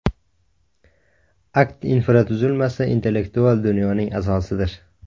AKT infratuzilmasi intellektual dunyoning asosidir.